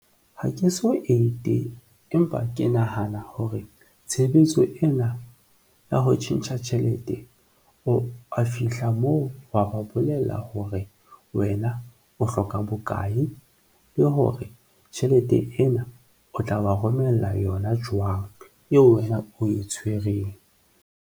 Ha ke so ete, empa ke nahana hore tshebetso ena ya ho tjhentjha tjhelete o a fihla moo, wa ba bolella hore wena o hloka bokae le hore tjhelete ena o tla wa romella yona jwang eo wena o e tshwereng.